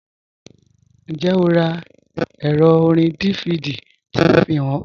Njẹ́, ọ rá èrò òrìn DVD tí mò fíhàn ọ?